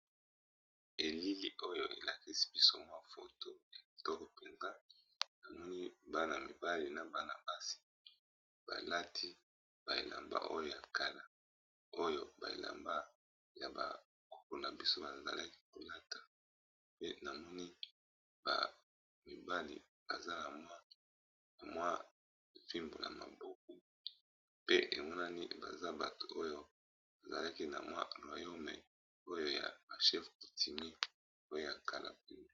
Elili oyo elakisi biso mwa foto kitoko mpenza, namoni bana mibali na bana basi balati ba elamba ya kala oyo ba elamba ya bakoko na biso bazalaki kolata pe namoni ba mibali baza na mwa fimbo na maboko, pe emonani baza bato oyo bazalaki na mwa moyen meyi oyo ya ba chef coutumier oyo ya kala.